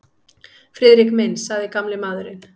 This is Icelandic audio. Friðrik minn sagði gamli maðurinn.